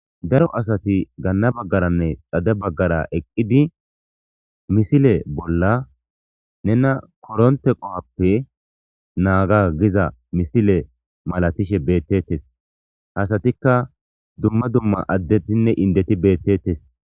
Daro asati gana bagaranne xade bagara eqidi missile bola nena koronte qohuappe nanga giza missile malatishe betes ha asatika dumma dumma addetinne endeti betetes.